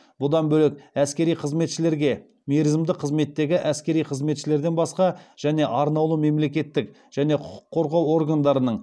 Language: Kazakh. бұдан бөлек әскери қызметшілерге және арнаулы мемлекеттік және құқық қорғау органдарының